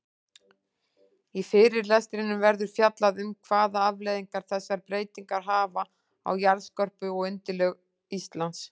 Í fyrirlestrinum verður fjallað um hvaða afleiðingar þessar breytingar hafa á jarðskorpu og undirlög Íslands.